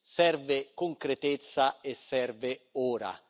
Serve concretezza e serve ora.